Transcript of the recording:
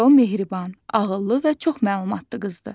Çünki o mehriban, ağıllı və çox məlumatlı qızdır.